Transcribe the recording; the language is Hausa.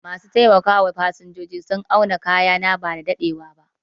Ma su taimaka wa fasinjoji sun auna kayana bada daɗewa ba